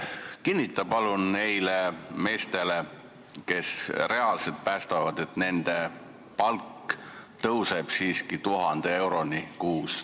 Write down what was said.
Kinnita palun nendele meestele, kes reaalselt päästavad, et nende palk tõuseb siiski 1000 euroni kuus.